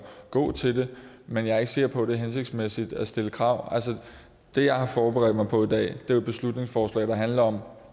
gå til det men jeg er ikke sikker på at det er hensigtsmæssigt at stille krav altså det jeg har forberedt mig på i dag er jo et beslutningsforslag der handler om